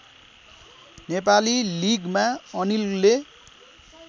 नेपाली लिगमा अनिलले